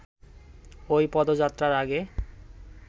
ওই পদযাত্রার আগে